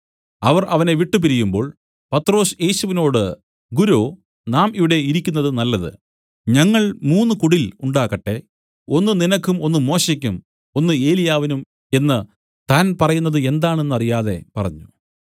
അവർ അവനെ വിട്ടുപിരിയുമ്പോൾ പത്രൊസ് യേശുവിനോടു ഗുരോ നാം ഇവിടെ ഇരിക്കുന്നത് നല്ലത് ഞങ്ങൾ മൂന്നു കുടിൽ ഉണ്ടാക്കട്ടെ ഒന്ന് നിനക്കും ഒന്ന് മോശെക്കും ഒന്ന് ഏലിയാവിനും എന്നു താൻ പറയുന്നത് എന്താണ് എന്ന് അറിയാതെ പറഞ്ഞു